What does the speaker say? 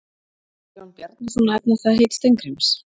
Ætlar Jón Bjarnason að efna það heit Steingríms?